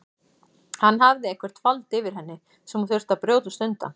Hann hafði eitthvert vald yfir henni sem hún þurfti að brjótast undan.